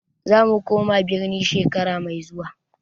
Zamu koma birni shekara mai zuwa.